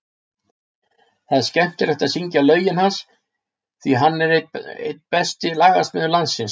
Það er skemmtilegt að syngja lögin hans, því hann er einn besti lagasmiður landsins.